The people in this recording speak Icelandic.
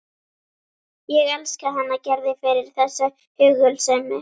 Ég elska hana Gerði fyrir þessa hugulsemi.